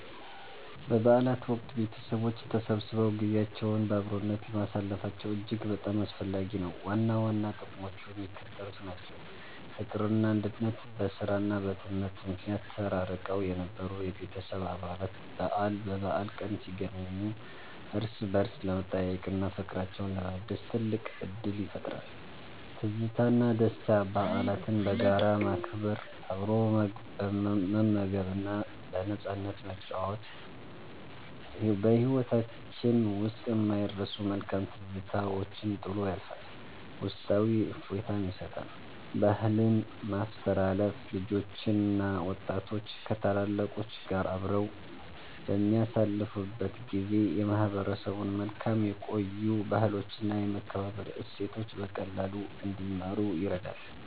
በበዓላት ወቅት ቤተሰቦች ተሰብስበው ጊዜያቸውን በአብሮነት ማሳለፋቸው እጅግ በጣም አስፈላጊ ነው። ዋና ዋና ጥቅሞቹ የሚከተሉት ናቸው፦ ፍቅርና አንድነት፦ በሥራና በትምህርት ምክንያት ተራርቀው የነበሩ የቤተሰብ አባላት በበዓል ቀን ሲገናኙ እርስ በርስ ለመጠያየቅና ፍቅራቸውን ለማደስ ትልቅ ዕድል ይፈጥራል። ትዝታና ደስታ፦ በዓላትን በጋራ ማክበር፣ አብሮ መመገብና በነፃነት መጨዋወት በሕይወታችን ውስጥ የማይረሱ መልካም ትዝታዎችን ጥሎ ያልፋል፤ ውስጣዊ እፎይታም ይሰጣል። ባህልን ማስተላለፍ፦ ልጆችና ወጣቶች ከታላላቆች ጋር አብረው በሚያሳልፉበት ጊዜ የማህበረሰቡን መልካም የቆዩ ባህሎችና የመከባበር እሴቶች በቀላሉ እንዲማሩ ይረዳል።